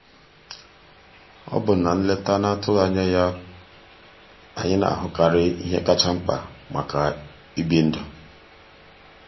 ọ bụ na nleta a na-atụghị anya ya anyị na-ahụkarị ihe kacha mkpa maka ibi ndụ.